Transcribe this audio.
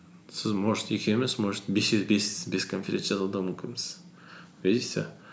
сіз может екеуміз может бес конференция жазу да мүмкінбіз видите